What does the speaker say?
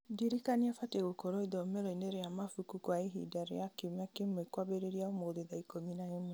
ndirikania batiĩ gũkorwo ithomero-inĩ rĩa mabuku kwa ihinda rĩa kiumia kĩmwe kwambĩrĩria ũmũthĩ thaa ikũmi na ĩmwe